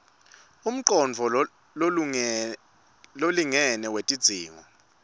umcondvo lolingene wetidzingo